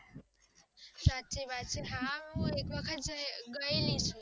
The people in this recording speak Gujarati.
સાચી વાત છે હું એક વખત ગય છુ